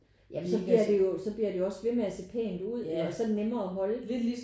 Ja men så bliver det jo så bliver det jo også ved med at se pænt ud og så er det nemmere at holde